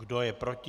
Kdo je proti?